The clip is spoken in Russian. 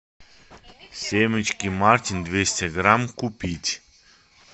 семечки мартин двести грамм купить